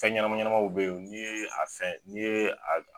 Fɛn ɲɛnɛma ɲɛnɛmaw be yen ni ye a fɛn ni ye a